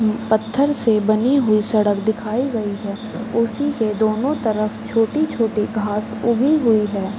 म्म पत्थर से बनी हुई सड़क दिखाई गयी है। उसी के दोनों तरफ छोटी-छोटी घास उगी हुई है।